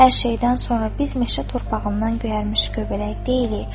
Hər şeydən sonra biz meşə torpağından göyərmiş göbələk deyilik.